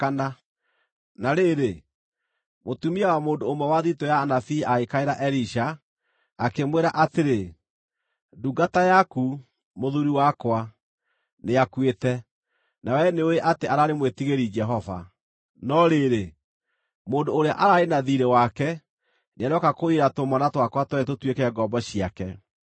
Na rĩrĩ, mũtumia wa mũndũ ũmwe wa thiritũ ya anabii agĩkaĩra Elisha, akĩmwĩra atĩrĩ, “Ndungata yaku, mũthuuri wakwa, nĩakuĩte, na wee nĩũũĩ atĩ araarĩ mwĩtigĩri Jehova. No rĩrĩ, mũndũ ũrĩa araarĩ na thiirĩ wake nĩarooka kũiyĩra tũmwana twakwa tweerĩ tũtuĩke ngombo ciake.”